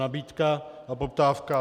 Nabídka a poptávka.